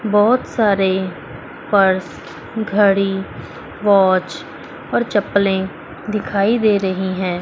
बहुत सारे पर्स घड़ी वॉच और चप्पलें दिखाई दे रही हैं।